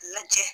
Lajɛ